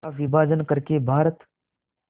का विभाजन कर के भारत